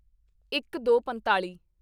ਇੱਕਦੋਪੰਤਾਲੀ